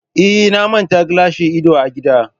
Eh, na manta gilashin idon a gida